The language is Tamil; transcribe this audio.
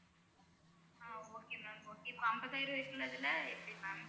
ஆஹ் okay ma'am okay இப்ப அம்பதாயிரம் இருக்குறதுல்ல எப்படி ma'am